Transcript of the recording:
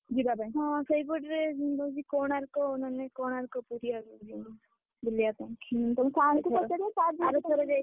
ହଁ ସେଇପଟରେ କୋଣାର୍କ ମାନେ କୋଣାର୍କ ପୁରୀ ଆଡକୁ ଯିବୁ ବୁଲିଆ ପାଇଁ ଆରଥର ଯାଇଥିଲୁ ନା